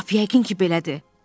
Lap yəqin ki, belədir.